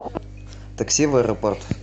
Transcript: такси в аэропорт